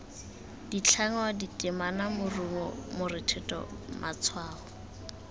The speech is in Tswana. ditlhangwa ditemana morumo morethetho matshwao